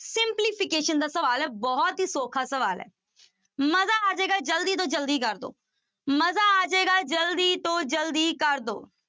Simplification ਦਾ ਸਵਾਲ ਹੈ ਬਹੁਤ ਹੀ ਸੌਖਾ ਸਵਾਲ ਹੈ ਮਜ਼ਾ ਆ ਜਾਏਗਾ ਜ਼ਲਦੀ ਤੋਂ ਜ਼ਲਦੀ ਕਰ ਦਓ ਮਜ਼ਾ ਆ ਜਾਏਗਾ ਜ਼ਲਦੀ ਤੋਂ ਜ਼ਲਦੀ ਕਰ ਦਓ।